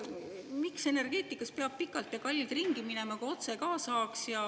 Miks energeetikas peab pikalt ja kallilt ringi minema, kui otse ka saaks?